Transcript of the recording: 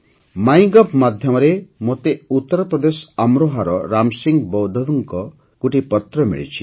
MyGov ମାଧ୍ୟମରେ ମୋତେ ଉତ୍ତରପ୍ରଦେଶ ଅମରୋହାର ରାମସିଂହ ବୌଦ୍ଧଙ୍କ ଗୋଟିଏ ପତ୍ର ମିଳିଛି